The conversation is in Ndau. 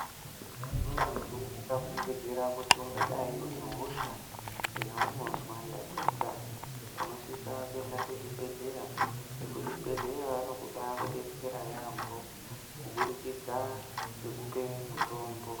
Muntu ukafungidzira kuti ungadayi une hosha yaunozwa ndapota unosise kuende kuzvibhehlera. Vekuzvibhedhlera vabaakubetsera yaamho kubudikidza ngekupe mitombo